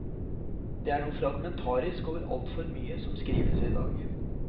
Det er noe fragmentarisk over altfor mye som skrives i dag.